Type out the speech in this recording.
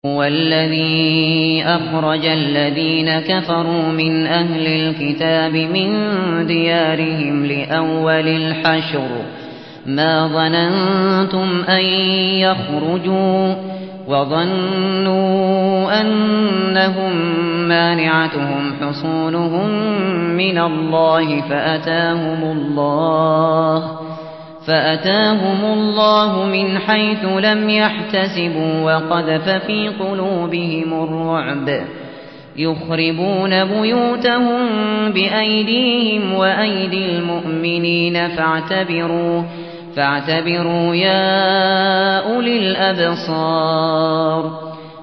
هُوَ الَّذِي أَخْرَجَ الَّذِينَ كَفَرُوا مِنْ أَهْلِ الْكِتَابِ مِن دِيَارِهِمْ لِأَوَّلِ الْحَشْرِ ۚ مَا ظَنَنتُمْ أَن يَخْرُجُوا ۖ وَظَنُّوا أَنَّهُم مَّانِعَتُهُمْ حُصُونُهُم مِّنَ اللَّهِ فَأَتَاهُمُ اللَّهُ مِنْ حَيْثُ لَمْ يَحْتَسِبُوا ۖ وَقَذَفَ فِي قُلُوبِهِمُ الرُّعْبَ ۚ يُخْرِبُونَ بُيُوتَهُم بِأَيْدِيهِمْ وَأَيْدِي الْمُؤْمِنِينَ فَاعْتَبِرُوا يَا أُولِي الْأَبْصَارِ